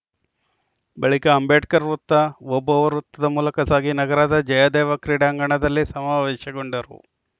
ಬಳಿಕ ಅಂಬೇಡ್ಕರ್‌ ವೃತ್ತ ಓಬವ್ವ ವೃತ್ತದ ಮೂಲಕ ಸಾಗಿ ನಗರದ ಜಯದೇವ ಕ್ರೀಡಾಂಗಣದಲ್ಲಿ ಸಮಾವೇಶಗೊಂಡರು